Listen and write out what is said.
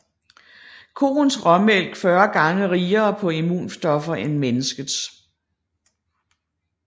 Koens råmælk 40 gange rigere på immunstoffer end menneskets